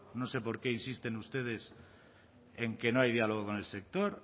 no sé por qué insisten ustedes en que no hay diálogo con el sector